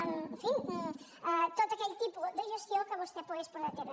en fi tot aquell tipus de gestió que vostè pogués portar a terme